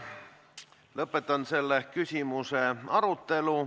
Lõpetan selle küsimuse arutelu.